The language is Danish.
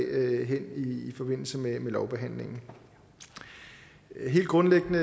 i forbindelse med lovbehandlingen helt grundlæggende